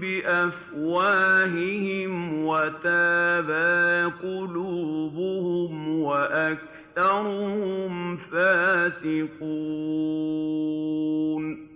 بِأَفْوَاهِهِمْ وَتَأْبَىٰ قُلُوبُهُمْ وَأَكْثَرُهُمْ فَاسِقُونَ